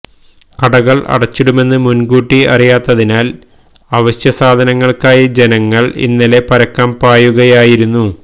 കടകള് അടച്ചിടുമെന്ന് മുന്കൂട്ടി അറിയാത്തതിനാല് അവശ്യസാധനങ്ങള്ക്കായി ജനങ്ങള് ഇന്നലെ പരക്കം പായുകയായിരുന്നു